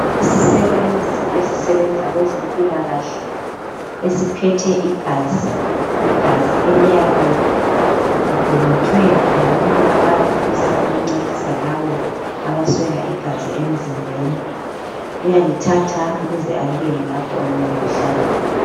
Isisebenzi esisebenza kwezempilakahle esiphethe igazi igazi eliyabe lidonethwe ngabantu abafisa ukuncedisa labo abaswela igazi emzimbeni uyalithathaa ukuze alibeke lapho okumele lihlale khona